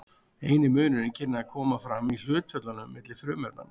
eini munurinn kynni að koma fram í hlutföllunum milli frumefnanna